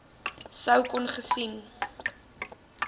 sou kon gesien